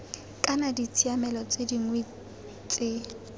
kana ditshiamelo tse dingwe tse